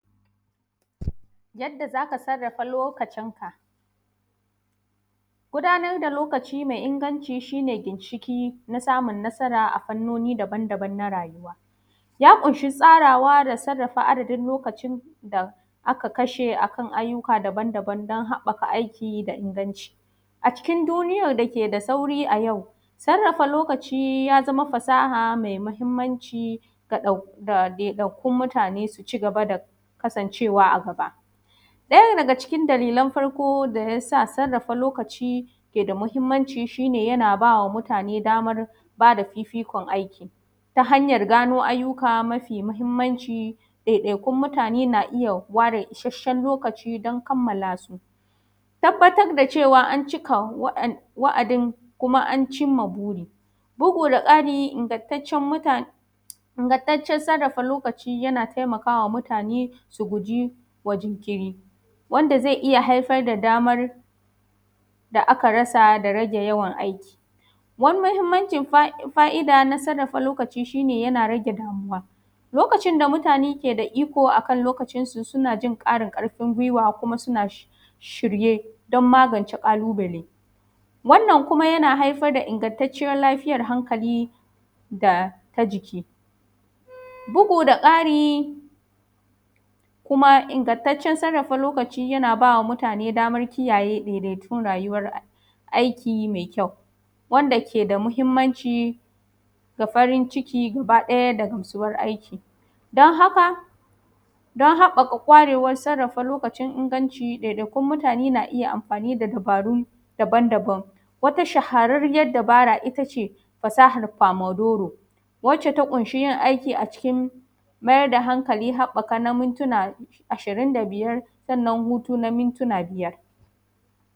Yadda zaka sarrafa lokacin ka. Gudabar da lokaci mai inganci shine ginshiƙi na samun nasara a fannoni daban daban na rayuwa, ya kunshi tsarawa da sarrafa adadin lokacin da aka kashe akan ayyuka daban daban dan haɓɓaka aiki da inganci. A cikin duniya da keda sauri a yau sarrafa lokaci yazama fasaha mai mahimmanci ga dau ɗaiɗaikun mutane su cigaba da kasan cewa a gaba. Daya daga cikin dalilan farko da yasa sarrafa lokaci keda mahimmanci, shine yana bama mutane daman ba fifikon aiki ta hanyan gano ayyuka mafi mahimmanci ɗaiɗaikun mutane na iyya ware isashshen lokaci dan kammala su. Tabbatar da cewa an ciki wa'a wa’adi kuma an cimma buri bugu da ƙari ingantaccen mutane ingantaccen sarrafa lokaci yana taimakawa mutane su gujewa jinkiri wanda zai iyya haifar da damar da aka rasa da rage yawan aiki. Wani mahimmancin fa’ida na sarrafa lokaci shine yana rage damuwa. Lokacin da mutane keda iko akan lokacin su sunajin ƙarin karfin guiwa kuma suna shir shirye dan magance ƙalubale, wannan kuma yana haifar da ingattaccen lafiyan hankali data jiki. Bugu da ƙari kuma ingattacen sarrafa lokaci yana bama mutane dama kiyaye da kuma rayuwan ai aiki mai kyau, wanda keda mahimmanci ga farin ciki gaba ɗaya da gamsuwar aiki, don haka don haɓɓaka kwarewan sarrafa lokacin inganci ɗaiɗaikun mutane na iyya amfani da dabarun daban daban wata shahararriyar dabara ittace, fasahar famadoro wacce ta kunshi yin aiki a cikn maida hankali haɓɓaka na muntuna ashirin da biyar sannan hutu na muntuna biyar.